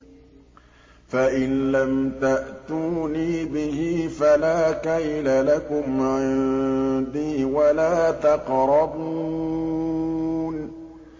فَإِن لَّمْ تَأْتُونِي بِهِ فَلَا كَيْلَ لَكُمْ عِندِي وَلَا تَقْرَبُونِ